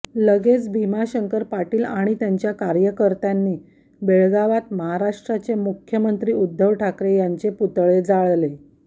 लगेच भीमाशंकर पाटील आणि त्यांच्या कार्यकर्त्यांनी बेळगावात महाराष्ट्राचे मुख्यमंत्री उद्धव ठाकरे यांचे पुतळे जाळले